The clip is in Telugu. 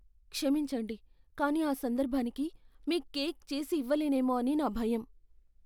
క్షమించండి, కానీ ఆ సందర్భానికి మీ కేక్ చేసి ఇవ్వలేనేమో అని నా భయం.